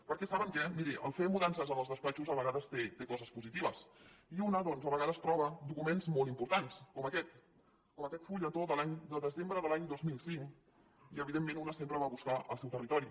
perquè saben què miri fer mudances en els despatxos a vegades té coses positives i una doncs a vegades troba documents molt importants com aquest com aquest fulletó de desembre de l’any dos mil cinc i evidentment una sempre va a buscar el seu territori